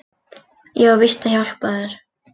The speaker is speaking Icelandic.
Ég á víst að hjálpa þér.